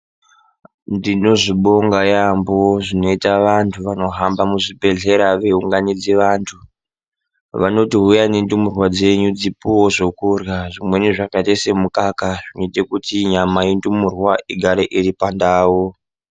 Ndinozvibonga yaambo zvinoita vantu vanohamba muzvibhedhlera veinganidze vantu, vanoti huyai nendumurwa dzenyu dzipiwewo zvekurya zvimweni zvakaite semukaka zvinoite kuti nyama yendumurwa igare iri pandau.